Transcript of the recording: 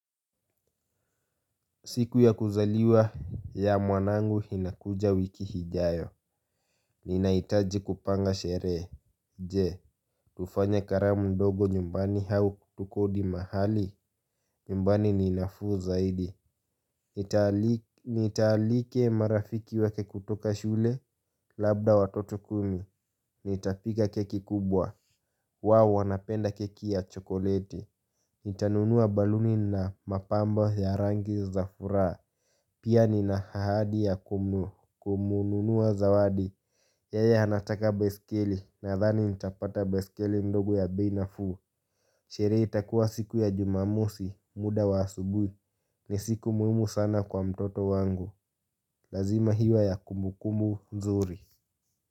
Siku ya kuzaliwa ya mwanangu inakuja wiki ijayo. Ninaitaji kupanga sherehe. Je, tufanye karamu ndogo nyumbani au kutukodi mahali. Nimbani ni nafuu zaidi. Nitaalika marafiki wake kutoka shule labda watoto kumi. Nitapika keki kubwa. Wao, wanapenda keki ya chokoleti. Nitanunua balloon na mapambo ya rangi za furaha. Pia nina ahadi ya kumununua zawadi. Yeye anataka baiskeli nadhani nitapata baiskeli ndogo ya bei nafuu. Sherehe itakuwa siku ya jumamosi muda wa asubuhi. Ni siku muhimu sana kwa mtoto wangu. Lazima iwe ya kumbukumbu nzuri.